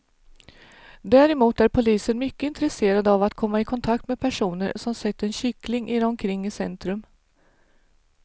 Däremot är polisen mycket intresserad av att komma i kontakt med personer som sett en kyckling irra omkring i centrum.